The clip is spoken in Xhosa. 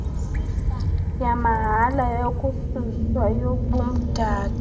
yamahala yokususwa kobumdaka